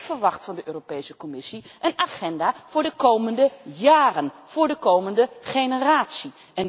Maar ik verwacht van de Europese Commissie een agenda voor de komende jaren, voor de komende generatie.